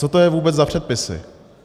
Co to je vůbec za předpisy?